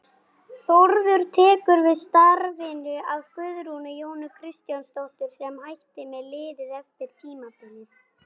Þórður tekur við starfinu af Guðrúnu Jónu Kristjánsdóttur sem hætti með liðið eftir tímabilið.